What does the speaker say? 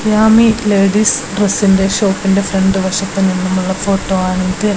Yami ladies ഡ്രസ്സിന്റെ ഷോപ്പിന്റെ front വശത്തു നിന്നുമുള്ള ഫോട്ടോയാണിത്.